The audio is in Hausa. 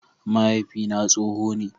Mahaifina tsoho ne.